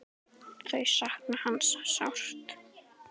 Þau sakna hans sárt.